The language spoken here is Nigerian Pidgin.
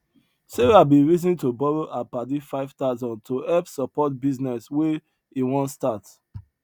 sarah bin reason to borrow her padi five thousand to help support businees wey he wan start